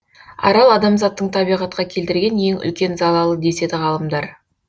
арал адамзаттың табиғатқа келтірген ең үлкен залалы деседі ғалымдар